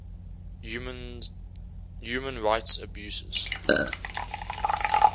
human rights abuses